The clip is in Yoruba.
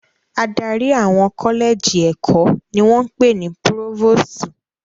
Adarí àwọn kọ́lẹ́jì ẹ̀kọ́ ni wọ́n ń pè ní púrófósútù.